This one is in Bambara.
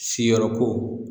Siyɔrɔko